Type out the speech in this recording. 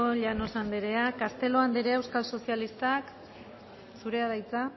llanos andrea castelo andrea euskal sozialistak zurea da hitza